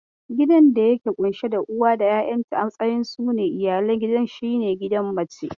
Gidan da ke ƙunshe da uwa da 'yayanta a matsayin su ne iyalan gidan shi ne gidan mace.